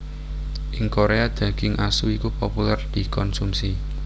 Ing Koréa daging asu iku populèr dikonsumsi